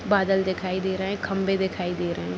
बादल दिखाई दे रहे है खंभे दिखाई दे रहे --